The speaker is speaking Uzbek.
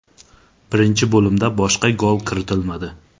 Birinchi bo‘limda boshqa gol kiritilmadi.